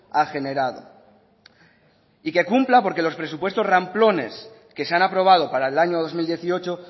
ha generado y que cumpla porque los presupuestos ramplones que se han aprobado para el año dos mil dieciocho